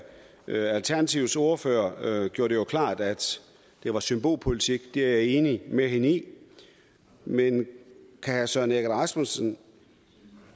alternativets ordfører gjorde det klart at det var symbolpolitik det er jeg enig med hende i men kan herre søren egge rasmussen